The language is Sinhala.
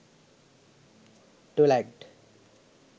twilight